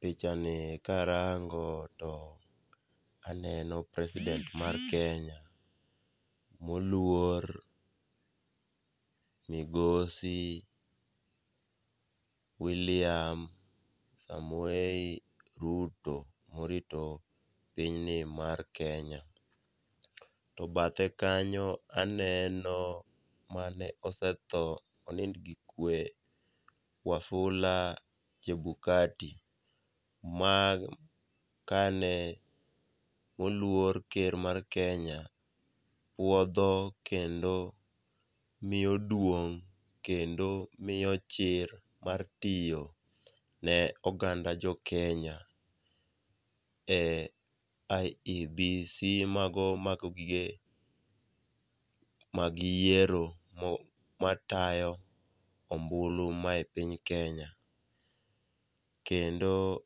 pichani karango to aneno president mar Kenya moluor migosi William Samoei Ruto, morito pinyni mar Kenya, to bathe kanyo aneno mane osetho ,onind gi kwe Wafula Chebukati, ma kane oluor ker mar Kenya wuodho kendo miyo duong' kendo miyo chir mar tiyo ne oganda jokenya,e IEBC mago mago gige mag yiero matayo ombulu mae piny Kenya, kendo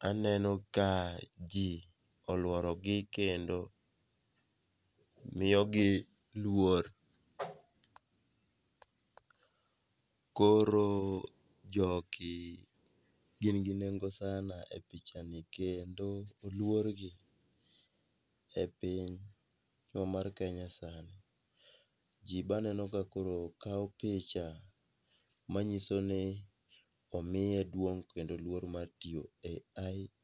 aneno ka ji olworogi kendo miyogi luor. Koro jogigin gi nengo sana e pichani kendo oluorgi epinywa mar Kenya sana . Ji be aneno ka koro kawo picha, manyisoni omiye duong' kendo luor mar tiyo e IEBC.